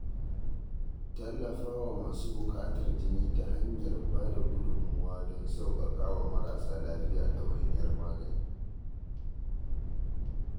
Tallafa wa masu buƙatar jini ta hanyar ba da gudummawa don sauƙaƙawa marasa lafiya ɗawainiyar magani.